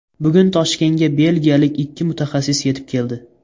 Bugun Toshkentga belgiyalik ikki mutaxassis yetib keldi.